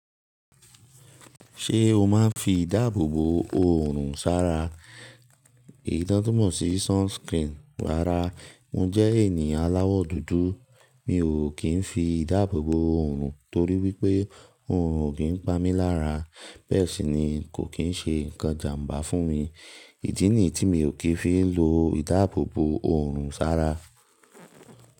Ṣé o máà ń fi ìdáàbòbò òrùn sára? Eyi ti won tunmo mọ̀ sí sunscreen wára. Mo jẹ́ ènìyàn aláwọ̀ dúdú. Mi ò kín fi ìdáàbòbò òorùn torí wípé oòrùn o kín pa mi lára. Bẹ́ẹ̀ sì ni kò kín ṣe ǹkan ìjàmbá fún mi. Ìdí nì yii tí mi ò kín fi ń lo ìdáàbòbò òrùn sára.